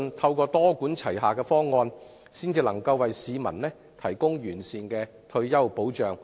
透過多管齊下的方案，市民才可獲得完善的退休保障。